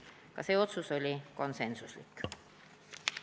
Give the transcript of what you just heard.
Ka see otsus oli konsensuslik.